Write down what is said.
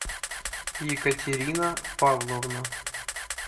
екатерина павловна